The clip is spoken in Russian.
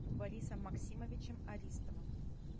борисом максимовичем аристовым